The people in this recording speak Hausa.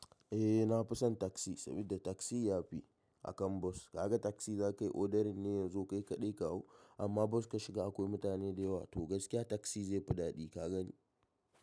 Eh na fi son taxi saboda taxi ya fi akan bus. Kaga taxi za ka yi odering ne ya zo kai kaɗai ka hau amma bus ka shiga akwai mutane da yawa. To gaskiya taksi zai fi daɗi ka gani.